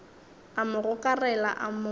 a mo gokarela a mo